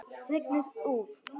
Rignir úr.